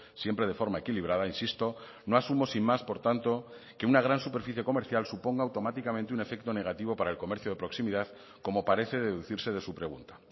siempre de forma equilibrada insisto no asumo sin más por tanto que una gran superficie comercial suponga automáticamente un efecto negativo para el comercio de proximidad como parece deducirse de su pregunta